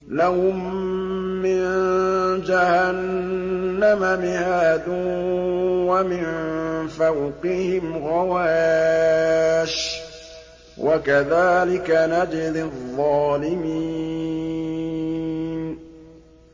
لَهُم مِّن جَهَنَّمَ مِهَادٌ وَمِن فَوْقِهِمْ غَوَاشٍ ۚ وَكَذَٰلِكَ نَجْزِي الظَّالِمِينَ